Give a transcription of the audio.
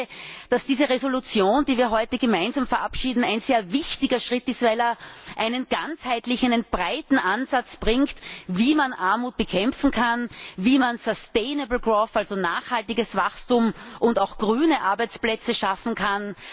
Ich denke, dass diese Entschließung, die wir heute gemeinsam verabschieden, ein sehr wichtiger Schritt ist, weil er einen ganzheitlichen, einen breiten Ansatz bringt, wie man Armut bekämpfen kann, wie man nachhaltiges Wachstum und grüne Arbeitsplätze schaffen kann.